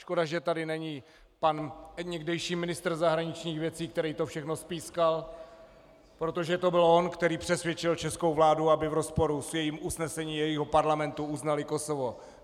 Škoda, že tady není pan někdejší ministr zahraničních věcí, který to všechno spískal, protože to byl on, který přesvědčil českou vládu, aby v rozporu s jejím usnesením, jejího parlamentu, uznali Kosovo.